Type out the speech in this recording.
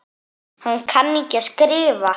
Hann kann ekki að skrifa.